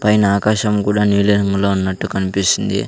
పైన ఆకాశం గుడా నీలిరంగులో ఉన్నట్టు కన్పిస్తుంది.